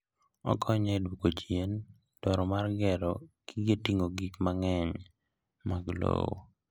Okonyo e dwoko chien dwaro mar gero gige ting'o gik mang'eny mag lowo.